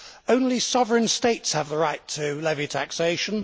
Only sovereign states have the right to levy taxation